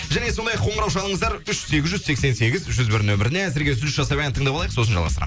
және сондай ақ қоңырау шалыңыздар үш сегіз жүз сексен сегіз жүз бір нөміріне үзіліс жасап ән тыңдап алайық сосын жалғастырамын